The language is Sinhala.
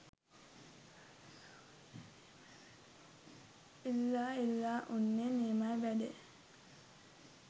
ඉල්ලා ඉල්ලා උන්නේ නියමයි වැඩේ